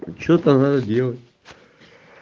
что-то надо делать